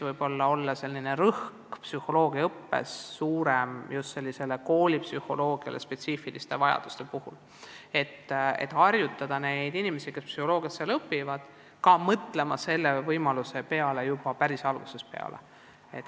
Võib-olla peaks psühholoogiaõppes panema enam rõhku just koolipsühholoogia spetsiifikale, et noored, kes seal psühholoogiat õpivad, hakkaksid võimalusele kooli minna juba päris algusest peale mõtlema.